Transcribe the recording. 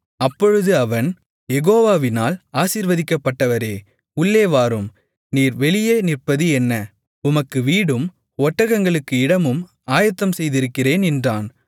அப்பொழுது அவன் யெகோவாவினால் ஆசீர்வதிக்கப்பட்டவரே உள்ளே வாரும் நீர் வெளியே நிற்பது என்ன உமக்கு வீடும் ஒட்டகங்களுக்கு இடமும் ஆயத்தம் செய்திருக்கிறேன் என்றான்